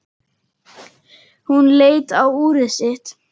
Hún leit á úrið sitt.